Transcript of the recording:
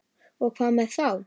Og hvað með þá?